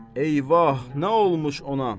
Eyvah, nə olmuş ona?